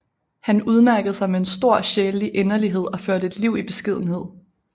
Han udmærkede sig med en stor sjælelig inderlighed og førte et liv i beskedenhed